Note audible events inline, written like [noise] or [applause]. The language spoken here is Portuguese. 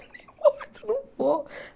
[laughs] não importa, não vou.